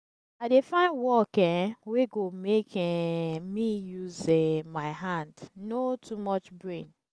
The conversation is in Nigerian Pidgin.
i dey find work um wey go make um me use um my hand no too much brain